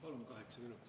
Palun kaheksa minutit.